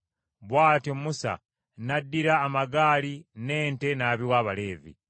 Bw’atyo Musa n’addira amagaali n’ente n’abiwa Abaleevi.